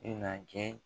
I na kɛ